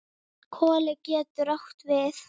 Koli getur átt við